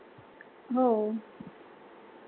हो.